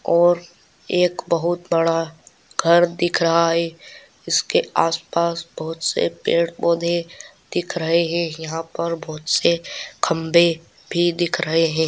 और एक बहुत बड़ा घर दिख रहा है। उसके आस पास बहुत से पेड़ पौधे देख रहे है ।यहाँ पर बहुत से खम्भे भी दिख रहे--